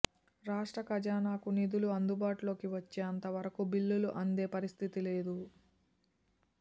రాష్ట్ర ఖజానాకు నిధులు అందుబాటులోకి వచ్చేంత వరకూ బిల్లులు అందే పరిస్థితి లేదు